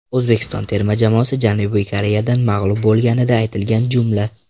O‘zbekiston terma jamoasi Janubiy Koreyadan mag‘lub bo‘lganida aytilgan jumla.